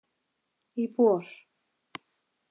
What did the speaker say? Í vor.